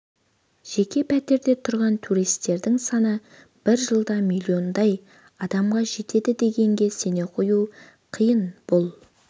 жеке пәтерде тұрған туристердің саны бір жылда миллиондай адамға жетеді дегенге сене қою қиын бұл